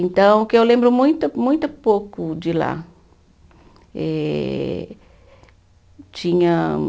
Então, que eu lembro muito muito pouco de lá eh, tinha.